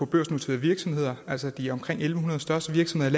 børsnoterede virksomheder altså de omkring en hundrede største virksomheder